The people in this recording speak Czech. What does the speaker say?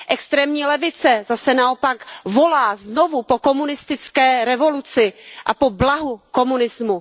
Extrémní levice zase naopak volá znovu po komunistické revoluci a po blahu komunismu.